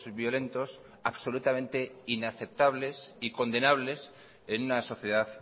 violentos absolutamente inaceptables y condenables en una sociedad